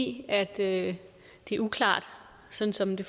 i at det er uklart sådan som det